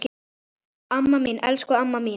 Amma mín, elsku amma mín.